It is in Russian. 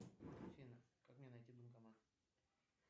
афина как мне найти банкомат